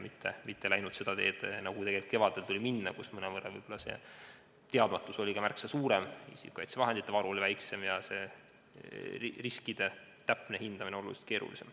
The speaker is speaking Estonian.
Me ei läinud seda teed, nagu tuli minna kevadel, kui teadmatus oli märksa suurem, isikukaitsevahendite varu väiksem ja riskide täpne hindamine oluliselt keerulisem.